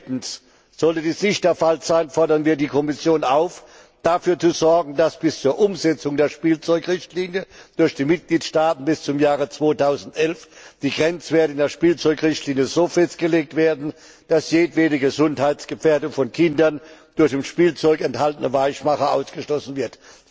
Drittens, sollte dies nicht der Fall sein, fordern wir die Kommission auf, dafür zu sorgen, dass bis zur Umsetzung der Spielzeugrichtlinie durch die Mitgliedstaaten bis zum Jahre 2011 die Grenzwerte in der Spielzeugrichtlinie so festgelegt werden, dass jedwede Gesundheitsgefährdung von Kindern durch in Spielzeug enthaltene Weichmacher ausgeschlossen wird.